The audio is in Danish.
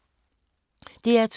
DR2